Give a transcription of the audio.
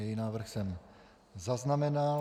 Její návrh jsem zaznamenal.